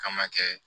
K'an ma kɛ